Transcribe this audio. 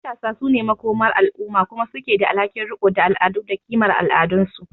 Matasa su ne makomar al’umma kuma su ke da alhakin riko da al’adu da kimar al’adunsu.